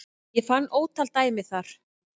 Ég fann ótal dæmi þar